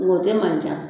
Nga o tɛ man ca